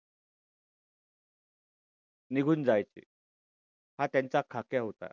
निघून जायचे. हा त्यांचा खाक्या होता.